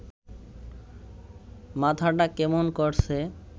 মাথাটা কেমন করছে